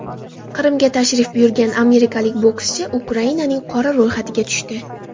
Qrimga tashrif buyurgan amerikalik bokschi Ukrainaning qora ro‘yxatiga tushdi.